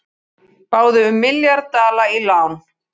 Báðu um milljarð dala í lán